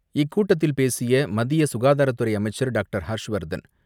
இக்கூட்டத்தில் பேசிய மத்திய சுகாதாரத்துறை அமைச்சர் டாக்டர் ஹர்ஷ் வர்தன்